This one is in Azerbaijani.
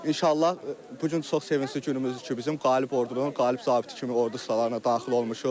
İnşallah bu gün çox sevincli günümüzdür ki, biz qalıb ordunun qalıb zabiti kimi ordu sıralarına daxil olmuşuq.